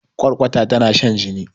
kwarkwata tana shan jini